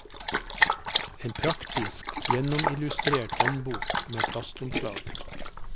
En praktisk, gjennomillustrert håndbok med plastomslag.